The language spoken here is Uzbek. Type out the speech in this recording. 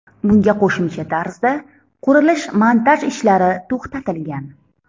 Bunga qo‘shimcha tarzda qurilish-montaj ishlari to‘xtatilgan.